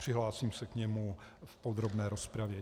Přihlásím se k němu v podrobné rozpravě.